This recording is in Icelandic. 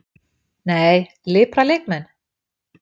Nei, Lipra leikmenn?